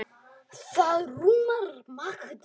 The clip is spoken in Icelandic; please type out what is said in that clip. Það rúmar margt.